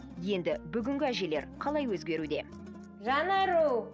енді бүгінгі әжелер қалай өзгеруде жанару